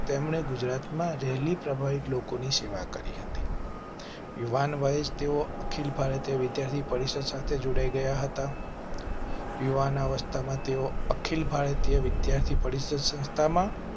તેમણે ગુજરાતમાં રેલી પ્રભાવિત લોકો ની સેવા કરી હતી. યુવાન વયે તેઓ અખિલ ભારતીય વિદ્યાર્થી પરિષદ સાથે જોડાઈ ગયા હતા. યુવાનાવસ્થામાં તેઓ અખિલ ભારતીય વિદ્યાર્થી પરિષદ સંસ્થા માં